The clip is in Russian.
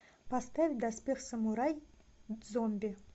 поставь доспех самурай зомби